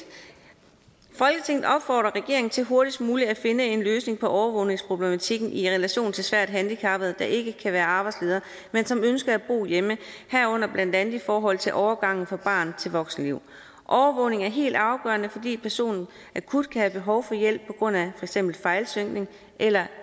opfordrer regeringen til hurtigst muligt at finde en løsning på overvågningsproblematikken i relation til svært handicappede der ikke kan være arbejdsledere men som ønsker at bo hjemme herunder blandt andet i forhold til overgangen fra barn til voksenliv overvågning er helt afgørende fordi personen akut kan have behov for hjælp på grund af eksempel fejlsynkning eller et